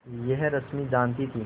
यह रश्मि जानती थी